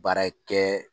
Baara kɛ